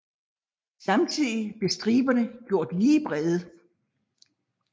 Samtidig blev striberne gjort lige brede